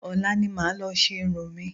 Ọ̀la ni màá lọ ṣe irun mi